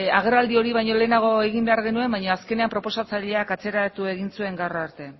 agerraldi hori baino lehenago egin behar genuen baina azkenean proposatzaileak atzeratu egin zuen gaur arte